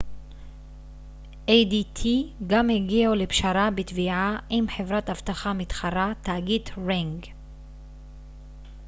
ring גם הגיעו לפשרה בתביעה עם חברת אבטחה מתחרה תאגיד adt